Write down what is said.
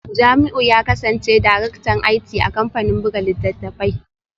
Jamiu ya kasance Daraktan IT a kamfanin buga littattafai